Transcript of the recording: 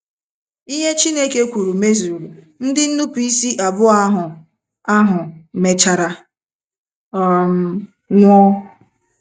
Ihe Chineke kwuru mezuru. Ndị nnupụisi abụọ ahụ ahụ mechara um nwụọ.